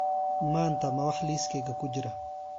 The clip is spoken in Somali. Maanta ma wax liiskayga ku jira?